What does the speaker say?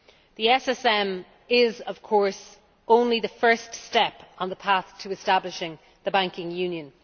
The SSM is of course only the first step on the path to establishing the banking union.